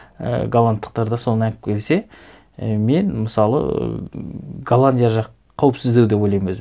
і голландтықтар да соны алып келе і мен мысалы ыыы голландия жақ қауіпсіздеу деп ойлаймын өзім